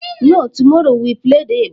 No, tomorrow we will play the igba.